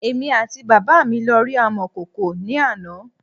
Èmi àti bàbá me lọ rí amọ̀kòkò ní àná